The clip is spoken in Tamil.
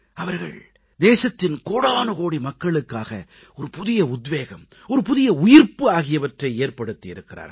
அவர்கள் தேசத்தின் கோடானுகோடி மக்களுக்காக புதிய உத்வேகம் புதிய உயிர்ப்பு ஆகியவற்றை ஏற்படுத்தி இருக்கிறார்கள்